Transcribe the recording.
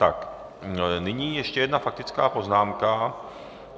Tak nyní ještě jedna faktická poznámka.